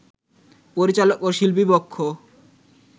পরিচালক ও শিল্পী পক্ষ